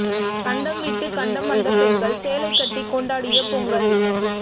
கண்டம் விட்டுக் கண்டம் வந்த பெண்கள் சேலை கட்டி கொண்டாடிய பொங்கல்